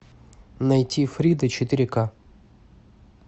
найти фрида четыре ка